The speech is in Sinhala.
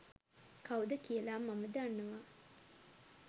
කවුද කියලා මම දන්නවා.